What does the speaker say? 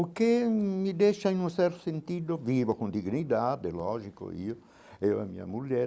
O que me deixa em um certo sentido, vivo com dignidade, é lógico, eu eu e a minha mulher,